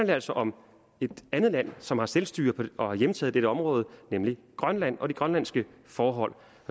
det altså om et andet land som har selvstyre og har hjemtaget dette område nemlig grønland og det grønlandske forhold